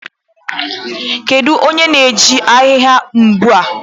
Kedu onye na-eji ahịhịa mgbu a?